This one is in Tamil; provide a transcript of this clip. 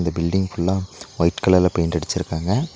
பில்டிங் ஃபுல்லா ஒய்ட் கலர்ல பெயிண்ட் அடுச்சுருக்காங்க.